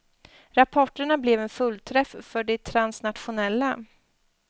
Rapporterna blev en fullträff för de transnationella.